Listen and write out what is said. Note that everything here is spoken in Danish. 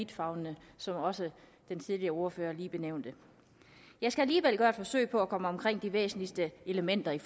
vidtfavnende som også den tidligere ordfører lige nævnte jeg skal alligevel gøre et forsøg på at komme omkring de væsentligste elementer i